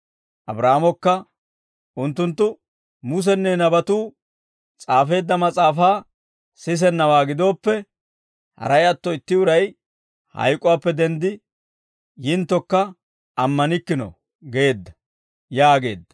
«Abraahaamokka, ‹Unttunttu Musenne nabatuu s'aafeedda mas'aafaa sisennawaa gidooppe, haray atto itti uray hayk'uwaappe denddi yinttokka ammanikkino› geedda» yaageedda.